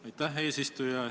Aitäh, eesistuja!